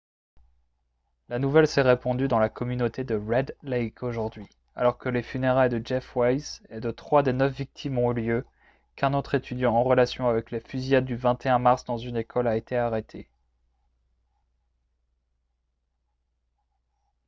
la nouvelle s'est répandue dans la communauté de red lake aujourd'hui alors que les funérailles de jeff weise et de trois des neuf victimes ont eu lieu qu'un autre étudiant en relation avec la fusillade du 21 mars dans une école a été arrêté